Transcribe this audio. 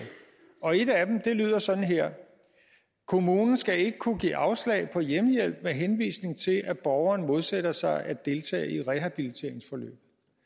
og et af dem lyder sådan her kommunen skal ikke kunne give afslag på hjemmehjælp med henvisning til at borgeren modsætter sig at deltage i rehabiliteringsforløb